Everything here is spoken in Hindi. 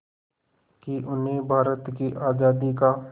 कि उन्हें भारत की आज़ादी का